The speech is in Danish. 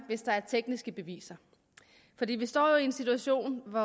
hvis der er tekniske beviser vi står jo en situation hvor